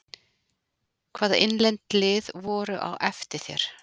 Hvaða innlend lið voru á eftir þér?